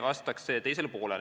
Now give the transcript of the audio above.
Vastan küsimuse teisele poolele.